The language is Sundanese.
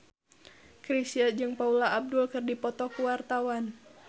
Chrisye jeung Paula Abdul keur dipoto ku wartawan